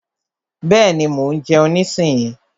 Bẹ́ẹ̀ni, mo ń jeun nísinyí.